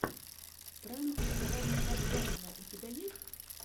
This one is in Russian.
пранк алана кадзаева у тебя есть